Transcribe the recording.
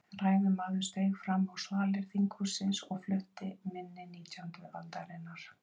Ræðumaður steig fram á svalir þinghússins og flutti minni nítjándu aldarinnar.